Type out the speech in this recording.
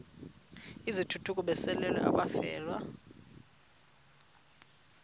izithukuthuku besalela abafelwa